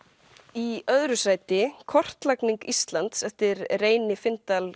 í öðru sæti kortlagning Íslands eftir Reyni